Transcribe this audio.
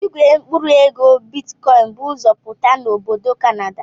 Igwe mkpụrụ ego bitikọin bụ ụzọ pụta na obodo Kanada.